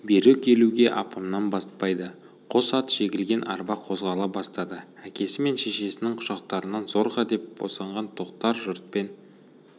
бері келуге апамнан батпайды қос ат жегілген арба қозғала бастады әкесі мен шешесінің құшақтарынан зорға деп босаған тоқтар жұртпен